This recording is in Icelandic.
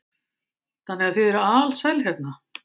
Þannig að þið eruð alsæl hérna?